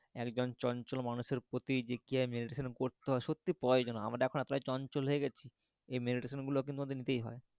একজন চঞ্চল মানুষের প্রতি যে কিভাবে meditation করতে হয় সত্যিই প্রয়োজন আমরা এখন এতটাই চঞ্চল হয়ে গেছি meditation গুলো কিন্তু আমাদের নিতেই হয়,